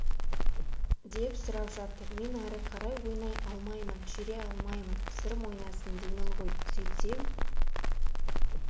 деп сұрап жатыр мен ары қарай ойнай алмаймын жүре алмаймын сырым ойнасын деймін ғой сөйтсем